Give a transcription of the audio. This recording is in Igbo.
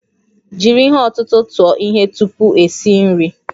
Jiri ihe ọ̀tụ̀tụ̀ tụọ ihe tupu esi nri